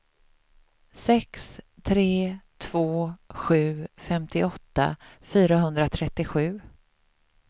sex tre två sju femtioåtta fyrahundratrettiosju